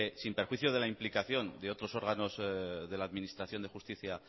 sin perjuicio de la implicación de otros órganos de la administración de justicia